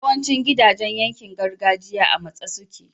yawancin gidajan yankin gargajiya a matse suke